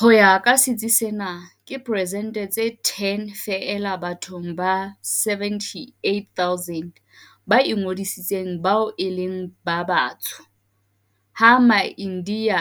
Ho ya ka sitsi sena, ke persente tse 10 feela bathong ba 78 000 ba ingodisitseng bao e leng ba Batsho, ha Maindiya